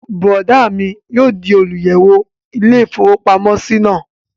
Bùrọ̀dá mi yóò di olùyẹ̀wò ilé-ìfowópamọ́sí náà